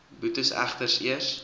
boetes egter eers